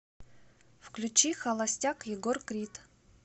включи холостяк егор крид